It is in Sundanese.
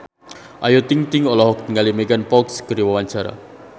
Ayu Ting-ting olohok ningali Megan Fox keur diwawancara